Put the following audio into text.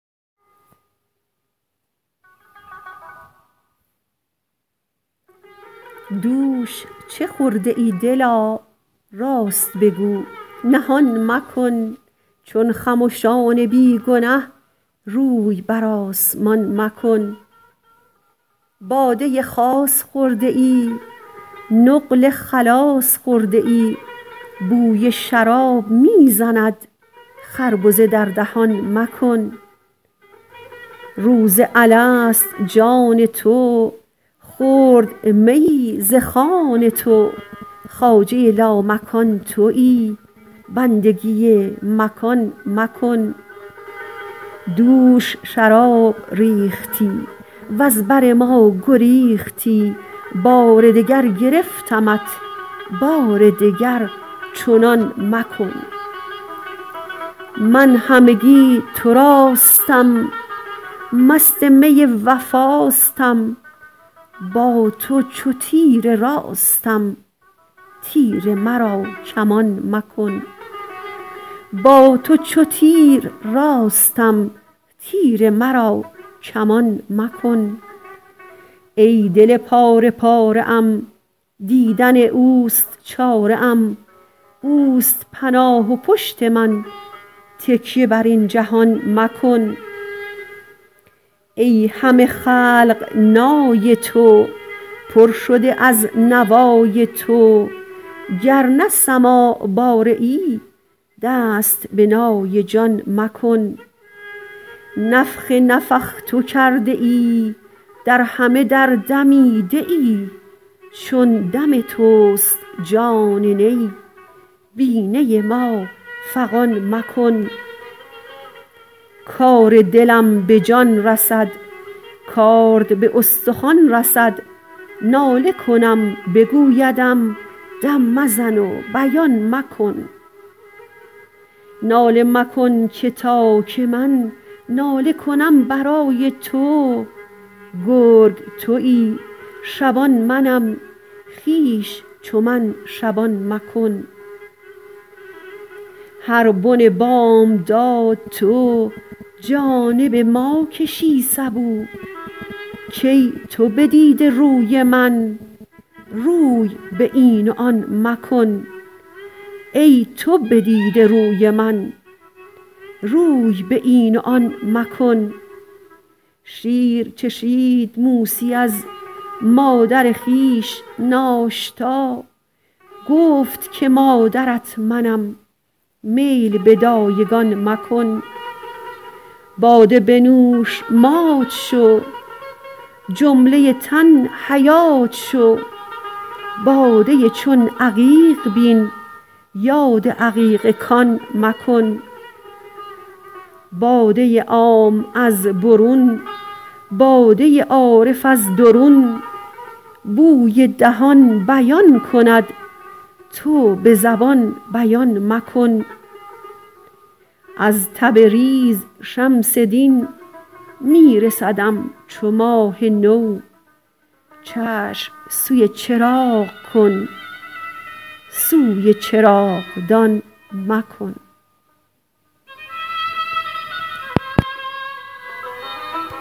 دوش چه خورده ای دلا راست بگو نهان مکن چون خمشان بی گنه روی بر آسمان مکن باده خاص خورده ای نقل خلاص خورده ای بوی شراب می زند خربزه در دهان مکن روز الست جان تو خورد میی ز خوان تو خواجه لامکان تویی بندگی مکان مکن دوش شراب ریختی وز بر ما گریختی بار دگر گرفتمت بار دگر چنان مکن من همگی تراستم مست می وفاستم با تو چو تیر راستم تیر مرا کمان مکن ای دل پاره پاره ام دیدن اوست چاره ام اوست پناه و پشت من تکیه بر این جهان مکن ای همه خلق نای تو پر شده از نوای تو گر نه سماع باره ای دست به نای جان مکن نفخ نفخت کرده ای در همه در دمیده ای چون دم توست جان نی بی نی ما فغان مکن کار دلم به جان رسد کارد به استخوان رسد ناله کنم بگویدم دم مزن و بیان مکن ناله مکن که تا که من ناله کنم برای تو گرگ تویی شبان منم خویش چو من شبان مکن هر بن بامداد تو جانب ما کشی سبو کای تو بدیده روی من روی به این و آن مکن شیر چشید موسی از مادر خویش ناشتا گفت که مادرت منم میل به دایگان مکن باده بنوش مات شو جمله تن حیات شو باده چون عقیق بین یاد عقیق کان مکن باده عام از برون باده عارف از درون بوی دهان بیان کند تو به زبان بیان مکن از تبریز شمس دین می رسدم چو ماه نو چشم سوی چراغ کن سوی چراغدان مکن